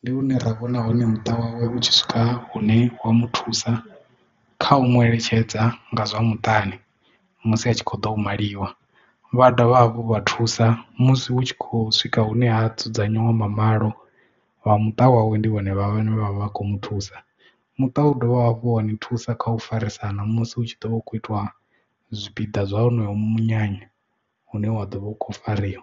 ndi lune ra vhona hone muṱa wawe u tshi swika hune wa mu thusa kha u mueletshedza nga zwa muṱani musi a tshi kho ḓo maliwa vha dovha hafhu vha thusa musi hu tshi khou swika hune ha dzudzanyiwa mamalo vha muṱa wawe ndi vhone vhane vha vha kho mu thusa muṱa wawe u dovha hafhu wa ni thusa kha u farisana musi hu tshi ḓovha u kho itiwa zwipiḓa zwa honoyo munyanya une wa ḓo vha u khou fariwa.